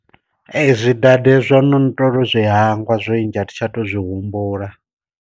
Ee zwi dade zwo no ndo tou zwi hangwa zwinzhi athi tsha to zwi humbula.